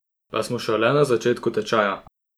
Pa smo šele na začetku tečaja!